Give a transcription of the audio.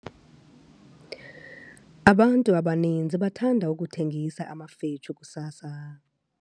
Abantu abaninzi bathanda ukuthengisa amafetshu kusasa.